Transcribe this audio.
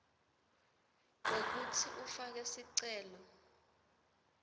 kwekutsi ufake sicelo